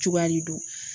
Cogoya de don